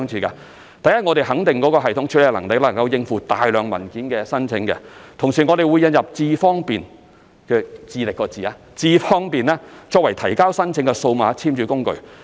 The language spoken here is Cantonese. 首先，我們肯定這個系統能夠應付大量申請文件，同時會引入"智方便"功能，作為提交申請的數碼簽署工具。